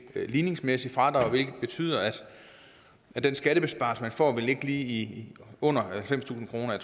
ligningsmæssigt fradrag hvilket betyder at den skattebesparelse man får vil ligge lige under halvfemstusind kroner